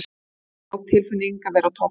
Það er góð tilfinning að vera á toppnum.